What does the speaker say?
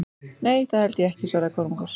Nei, það held ég ekki, svaraði Kormákur.